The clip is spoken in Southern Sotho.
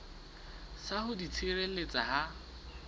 sa ho di tshireletsa ha